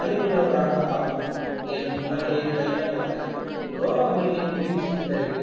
அறிவுள்ளவராக ஆக்கும் என் முறைய கையாண்டு வந்தனர் ரோமாபுரியின் வீழ்ச்சிக்குப் பிறகு